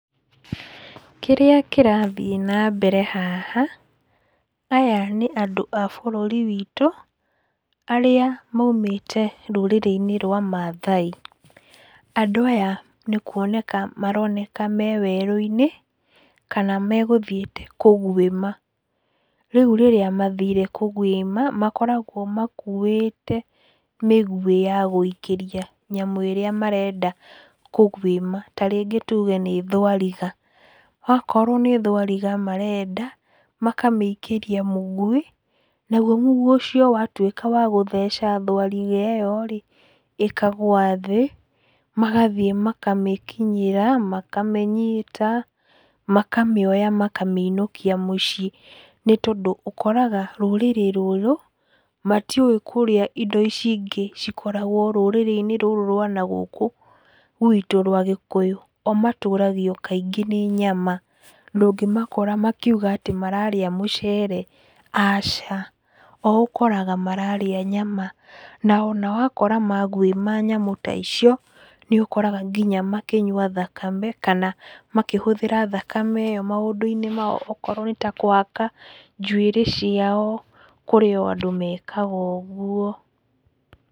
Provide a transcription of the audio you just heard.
Kĩrĩa kĩrathiĩ nambere haha, aya nĩ andũ a bũrũri witũ arĩa maumĩte rũrĩrĩ-inĩ rwa Maathai. Andũ aya nĩ kuoneka maroneka me werũinĩ kana megũthiĩte kũgwĩma. Rĩu rĩrĩa mathire kũgwĩma makoragwo makuĩte mĩguĩ ya gũikĩria nyamũ ĩrĩa marenda kũgwĩma. Ta rĩngĩ tuge nĩ thwariga, okorwo nĩ thwariga marenda makamĩikĩria mũguĩ, naguo mũguĩ ũcio watuĩka wa gũtheca thwariga ĩyo rĩ, ĩkagũa thĩ, magathiĩ makamĩkinyĩra, makamĩnyita, makamĩoya makamĩinũkia mũciĩ. Nĩ tondũ ũkoraga rũrĩrĩ rũũrũ matiũĩ kũrĩa indo ici ingĩ cikoragwo rũrĩrĩ-inĩ rũrũ rwa nagũkũ gwitũ rwa Gĩkũyũ. O matũragio kaingĩ nĩ nyama, ndũngĩmakora makiuga atĩ mararĩa mũcere, aca, o ũkoraga mararĩa nyama. Na ona wakora magwĩma nyamũ ta icio nĩ ũkoraga nginya makĩnyua thakame, kana makĩhũthĩra thakame ĩyo maũndũ-inĩ mao, okorwo nĩ ta kũhaka njuĩrĩ ciao, kũrĩ o andũ mekaga ũguo.